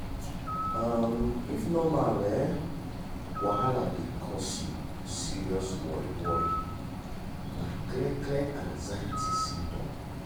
um if normal um wahala dey cause you serious worry worry na clear clear anxiety symptom.